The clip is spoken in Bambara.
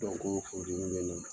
Janko funteni be